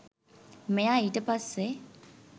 මෙයා ඊට පස්සේ